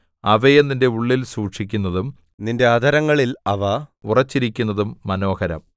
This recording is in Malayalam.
അവയെ നിന്റെ ഉള്ളിൽ സൂക്ഷിക്കുന്നതും നിന്റെ അധരങ്ങളിൽ അവ ഉറച്ചിരിക്കുന്നതും മനോഹരം